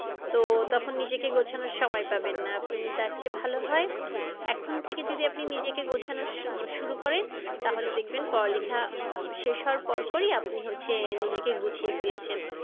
তো তখন নিজেকে গোছানোর সময় পাবেন না আপনি তার চেয়ে ভালো হয় এখন থেকে যদি আপনি নিজেকে গোছানো শুরু করেন তাহলে দেখবেন পড়ালেখা আহ শেষ হওয়ার পরপরই আপনি হচ্ছে নিজেকে গুছিয়ে ফেলেছেন।